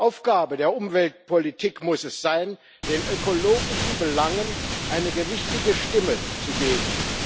Aufgabe der Umweltpolitik muss es sein, den ökologischen Belangen eine gewichtige Stimme zu geben.